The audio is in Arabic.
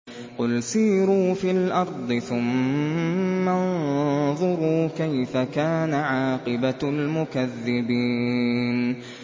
قُلْ سِيرُوا فِي الْأَرْضِ ثُمَّ انظُرُوا كَيْفَ كَانَ عَاقِبَةُ الْمُكَذِّبِينَ